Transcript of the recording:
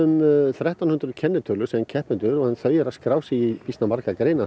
þrettán hundruð kennitölur sem keppendur þau eru að skrá sig í býsna margar greinar